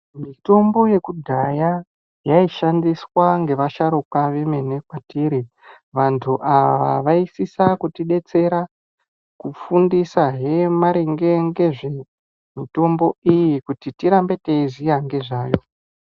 Mitombo yekudhaya yaishandiswa ngevasharukwa vemene kwetiri. Vantu ava vaisisa kutidetsera, kufundisahemaringe ngezvemitombo iyi kuti tirambe teiziya ngezvayo.